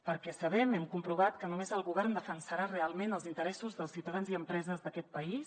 perquè sabem hem comprovat que només el govern defensarà realment els interessos dels ciutadans i empreses d’aquest país